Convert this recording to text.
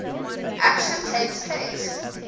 action takes place